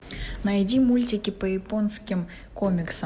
найди мультики по японским комиксам